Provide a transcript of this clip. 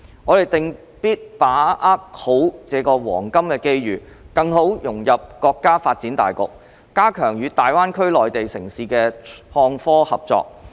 我們定必把握好這個黃金機遇，更好融入國家發展大局，加強與大灣區內地城市的創科合作。